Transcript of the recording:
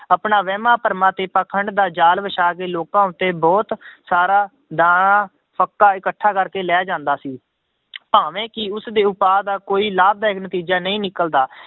ਆਪਣਾ ਵਹਿਮਾਂ ਭਰਮਾਂ ਤੇ ਪਾਖੰਡ ਦਾ ਜ਼ਾਲ ਵਿਛਾ ਕੇ ਲੋਕਾਂ ਉੱਤੇ ਬਹੁਤ ਸਾਰਾ ਦਾਣਾ, ਫੱਕਾ ਇਕੱਠਾ ਕਰਕੇ ਲੈ ਜਾਂਦਾ ਸੀ ਭਾਵੇਂ ਕਿ ਉਸਦੇ ਉਪਾਅ ਦਾ ਕੋਈ ਲਾਭਦਾਇਕ ਨਤੀਜਾ ਨਹੀਂ ਨਿਕਲਦਾ